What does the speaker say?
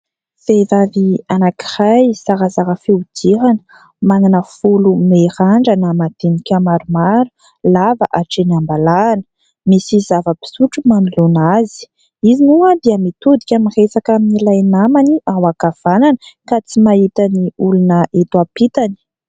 Vehivavy anankiray zarazara fihodirana, manana volo mirandrana madinika maromaro, lava hatrany am-balahany. Misy zava-pisotro manoloana azy. Izy moa dia mitodika miresaka amin'ilay namany ao ankavanana, ka tsy mahita ny olona eto ampitany.